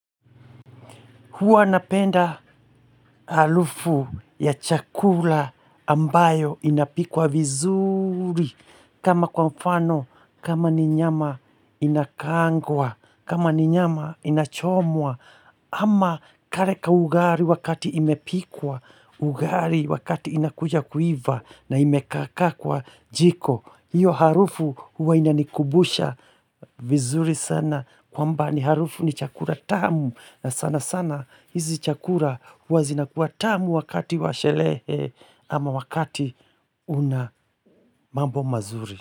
Huwa napenda harufu ya chakula ambayo inapikwa vizuri. Kama kwa mfano, kama ni nyama inakaangwa, kama ni nyama inachomwa. Ama kale ka ugali wakati imepikwa, ugali wakati inakuja kuiva na imekaa kaa kwa jiko. Hiyo harufu huwa inanikumbusha vizuri sana kwamba ni harufu ni chakula tamu na sana sana hizi chakula huwa zinakuwa tamu wakati wa sherehe ama wakati una mambo mazuri.